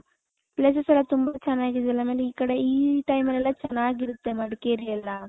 places ಎಲ್ಲಾ ತುಂಬಾ ಚೆನ್ನಾಗಿದೆ ಆಮೇಲೆ ಈ ಕಡೆ ಈ time ಅಲ್ಲಿ ಯಲ್ಲ ಚೆನ್ನಾಗಿರುತ್ತೆ ಮಡಕೇರಿ ಯಲ್ಲ .